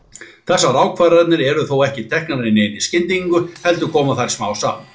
Þessar ákvarðanir eru þó ekki teknar í neinni skyndingu, heldur koma þær smám saman.